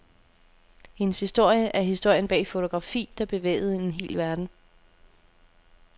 Hendes historie er historien bag et fotografi, der bevægede en hel verden.